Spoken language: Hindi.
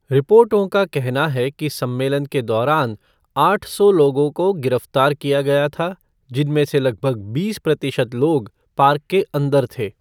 रिपोर्टों का कहना है कि सम्मेलन के दौरान आठ सौ लोगों को गिरफ्तार किया गया था, जिनमें से लगभग बीस प्रतिशत लोग पार्क के अंदर थे।